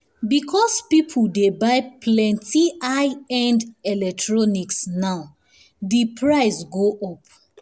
because people dey buy plenty high-end electronics now di price go up.